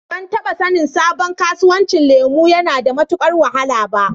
Ban taɓa sanin sabon kasuwancin lemu yana da matuƙar wahala ba.